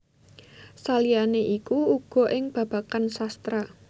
Saliyane iku uga ing babagan sastra